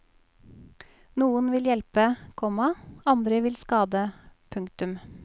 Noen vil hjelpe, komma andre vil skade. punktum